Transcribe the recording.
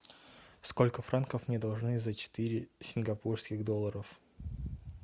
сколько франков мне должны за четыре сингапурских долларов